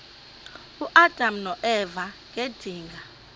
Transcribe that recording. uadam noeva ngedinga